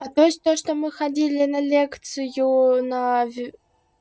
а то есть то что мы ходили на лекцию на